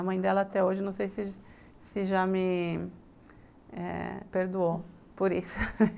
A mãe dela até hoje não sei se se já me eh me perdoou por isso